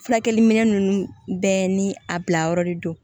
Furakɛliminɛn ninnu bɛɛ ni a bila yɔrɔ de don